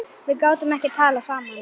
Við gátum ekki talað saman.